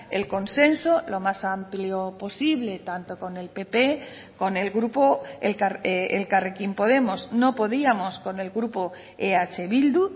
el consenso lo más amplio posible tanto con el pp con el grupo elkarrekin podemos no podíamos con el grupo eh bildu